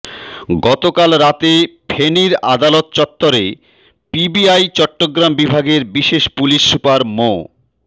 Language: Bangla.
গতকাল রাতে ফেনীর আদালত চত্বরে পিবিআই চট্টগ্রাম বিভাগের বিশেষ পুলিশ সুপার মো